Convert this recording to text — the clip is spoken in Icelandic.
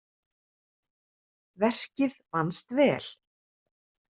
Verkið vannst vel.